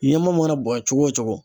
Ɲaman mana bonya cogo o cogo